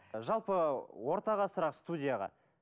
жалпы ортаға сұрақ студияға